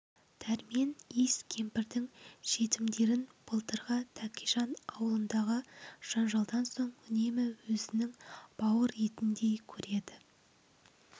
дәрмен иіс кемпірдің жетімдерін былтырғы тәкежан аулындағы жанжалдан соң үнемі өзінің бауыр етіндей көреді